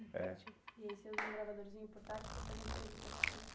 é. E aí você usa um gravadorzinho portátil para fazer entrevista com as pessoas.